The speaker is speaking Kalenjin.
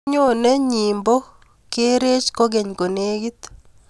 Nyoni nyipo kerech kog'eny ko negit